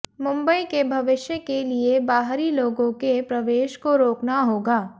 मुंबई के भविष्य के लिए बाहरी लोगों के प्रवेश को रोकना होगा